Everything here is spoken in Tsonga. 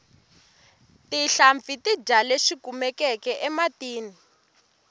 tinhlampfi ti dya leswi kumekaka ematini